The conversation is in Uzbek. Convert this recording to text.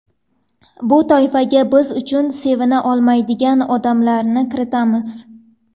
Bu toifaga biz uchun sevina olmaydigan odamlarni kiritamiz.